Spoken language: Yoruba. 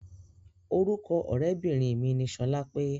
Orúkọ ọ̀rẹ́bìnrin mi ni sọlápé.